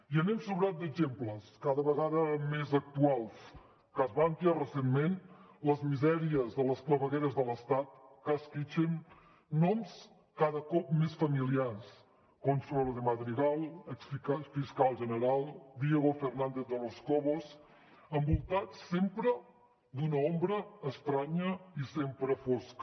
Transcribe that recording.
i anem sobrats d’exemples cada vegada més actuals cas bankia recentment les misèries de les clavegueres de l’estat cas kitchen noms cada cop més familiars consuelo madrigal ex fiscal general diego pérez de los cobos envoltats sempre d’una ombra estranya i sempre fosca